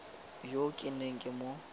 yo ke neng ke mo